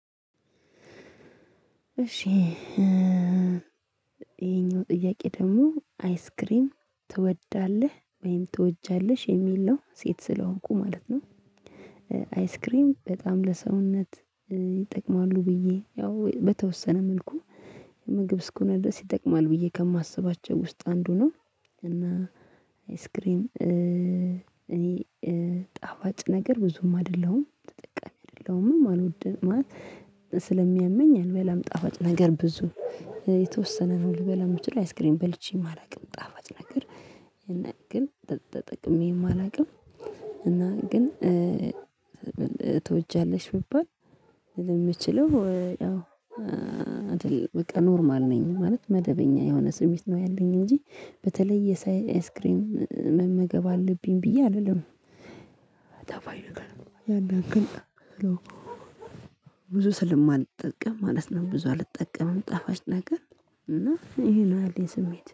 እሺ ይሄኛው ጥያቄ ደግሞ አይስክሪም ትወዳለህ ወይም ትወጃለሽ የሚል ነው ሴት ስለሆንኩ ማለት ነው። አይስክሬም በጣም ለሰውነት ይጠቅማሉ ብዬ ያው በተወሰነ መልኩ የምግብ እስኮነድረስ ይጠቅማል ብዬ ከማስባቸው ውስጥ አንዱ ነው። እና አይስክሬም እኔ ጣፋጭ ነገር ብዙም አይደለሁም ተጠቃሚ አይደለሁም ማን ማለት ስለሚያመኝ አልበላም ጣፋጭ ነገር ብዙ የተወሰነ ነው ልበላ የምችለው አይስክሬም በልቼም አላቅም ጣፋጭ ነገር። ግን ተጠቅሜም አላቅም። እና ግን ትወጃለሽ ቢባል የምችለው ያው አይደል በቃ ኖርማል ነኝ ማለት መደበኛ የሆነ ስሜት ነው። ያለኝ እንጂ በተለይ የሳይ አይስክሬም መመገብ አለብኝ ብዬ አልልም አላለም። ጣፋጭ ነገር ያን ያክል አይደለሁም ብዙ ስለማልጠቀም ማለት ነው። ብዙ አልጠቀምም ጣፋጭ ነገር እና ይሄ ነው ያለኝ ስሜት